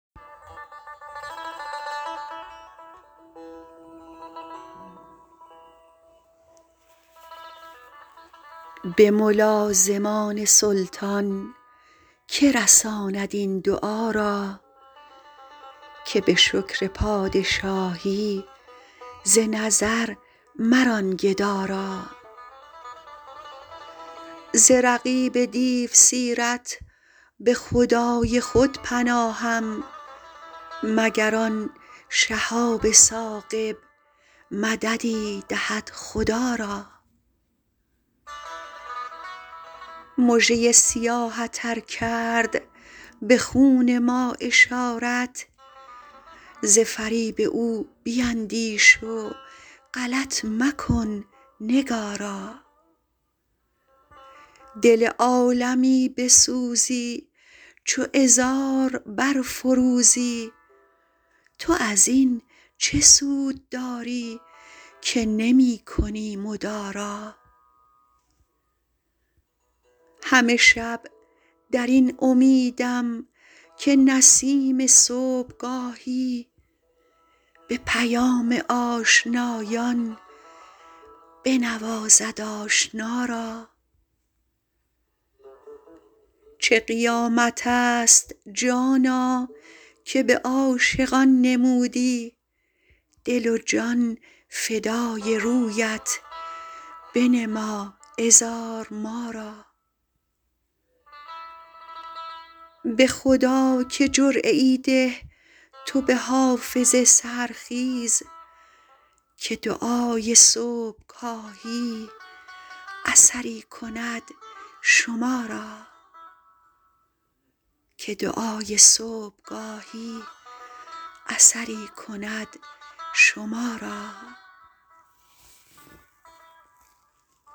به ملازمان سلطان که رساند این دعا را که به شکر پادشاهی ز نظر مران گدا را ز رقیب دیوسیرت به خدای خود پناهم مگر آن شهاب ثاقب مددی دهد خدا را مژه ی سیاهت ار کرد به خون ما اشارت ز فریب او بیندیش و غلط مکن نگارا دل عالمی بسوزی چو عذار برفروزی تو از این چه سود داری که نمی کنی مدارا همه شب در این امیدم که نسیم صبحگاهی به پیام آشنایان بنوازد آشنا را چه قیامت است جانا که به عاشقان نمودی دل و جان فدای رویت بنما عذار ما را به خدا که جرعه ای ده تو به حافظ سحرخیز که دعای صبحگاهی اثری کند شما را